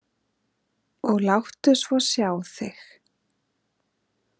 Og láttu svo sjá þig.